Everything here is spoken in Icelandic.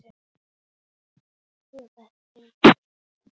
Jú, þetta er indælt